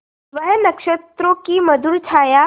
वह नक्षत्रों की मधुर छाया